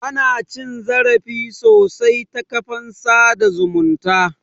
Ana cin zarafi sosai ta kafafen sada zumunta